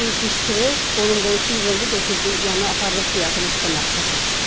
Qışqırıq qonum-qonşu yığıldı, götürdü yəni apardıq diaqnostika mərkəzinə.